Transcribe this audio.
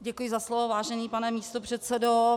Děkuji za slovo, vážený pane místopředsedo.